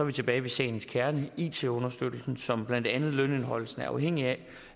vi tilbage ved sagens kerne it understøttelsen som blandt andet lønindeholdelsen er afhængig af